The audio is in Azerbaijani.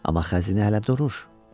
Amma xəzinə hələ durur.